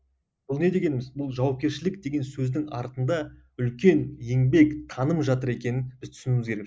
бұл не дегеніміз бұл жауапкершілік деген сөздің артында үлкен еңбек таным жатыр екенін біз түсінуіміз керек